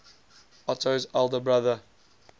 otto's elder brother